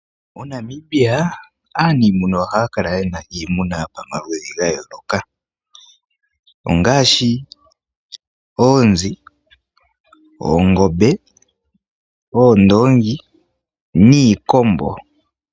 MoNamibia aanimuna ohaya kala yena iimuna yopamaludhi ga yooloka. Ongaashi oonzi, oongombe, oondoongi, niikombo.